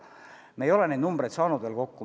Me ei ole neid numbreid veel kokku saanud.